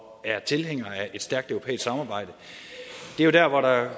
er tilhængere af et stærkt europæisk samarbejde det er jo dér hvor der